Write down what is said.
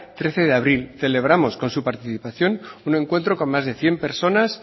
trece de abril celebramos con su participación un encuentro con más de cien personas